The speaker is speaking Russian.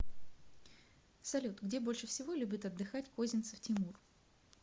салют где больше всего любит отдыхать козинцев тимур